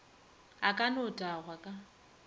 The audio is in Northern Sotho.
a ka no tagwa ka